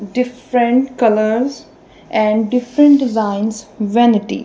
different colours and different designs vanity.